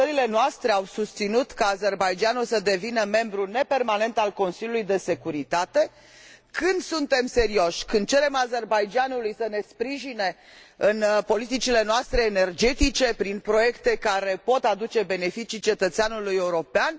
Când țările noastre au susținut ca Azerbaidjanul să devină membru nepermanent al Consiliului de securitate? Când suntem serioși? Când cerem Azerbaidjanului să ne sprijine în politicile noastre energetice prin proiecte care pot aduce beneficii cetățeanului european?